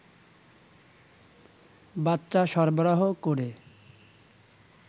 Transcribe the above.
বাচ্চা সরবরাহ করে